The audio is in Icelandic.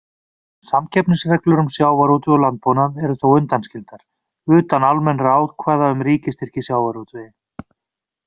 Samkeppnisreglur um sjávarútveg og landbúnað eru þó undanskildar, utan almennra ákvæða um ríkisstyrki í sjávarútvegi.